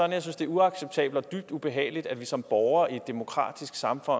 at jeg synes det er uacceptabelt og dybt ubehageligt at vi som borgere i et demokratisk samfund